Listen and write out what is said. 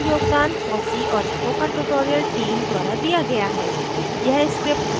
इस script का योगदान fossee और spoken tutorial team द्वारा दिया गया है